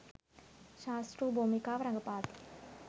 ශාස්තෲ භූමිකාව රඟපාති.